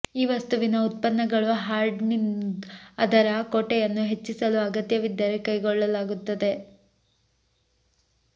ಈ ವಸ್ತುವಿನ ಉತ್ಪನ್ನಗಳು ಹಾರ್ಡನಿಂಗ್ ಅದರ ಕೋಟೆಯನ್ನು ಹೆಚ್ಚಿಸಲು ಅಗತ್ಯವಿದ್ದರೆ ಕೈಗೊಳ್ಳಲಾಗುತ್ತದೆ